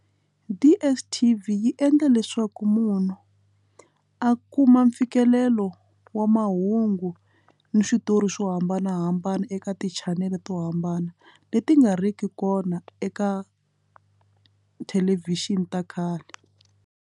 DSTV yi endla leswaku munhu a kuma mfikelelo wa mahungu ni switori swo hambanahambana eka ti channel to hambana leti nga riki kona eka thelevhixini ta khale.